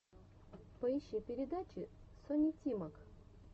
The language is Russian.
поищи передачи сони тимак